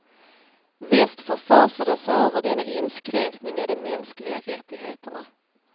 Väst förfasade sig över denna inskränkning i de mänskliga rättigheterna.